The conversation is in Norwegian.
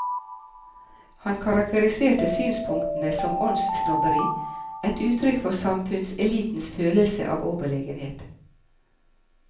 Han karakteriserte synspunktene som åndssnobberi, et uttrykk for samfunnselitens følelse av overlegenhet.